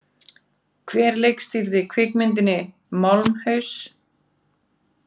Hver leikstýrði kvikmyndinni Málmhaus?